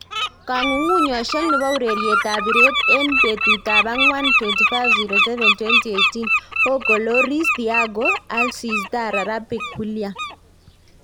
kongungunyoshek nepo ureret ap. piret en petut ap akwan 25.07.2018,Hogo Lloris Thiago Alcs tara, rapic, william